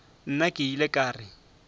nna ke ile ka re